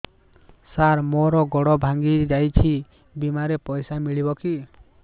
ସାର ମର ଗୋଡ ଭଙ୍ଗି ଯାଇ ଛି ବିମାରେ ପଇସା ମିଳିବ କି